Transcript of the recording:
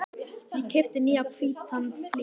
Ég keypti nýjan hvítan flygil.